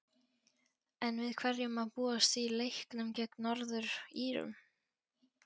En við hverju má búast í leiknum gegn Norður-Írum?